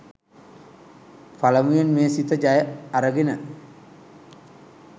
පළමුවෙන්ම මේ සිත ජය අරගෙන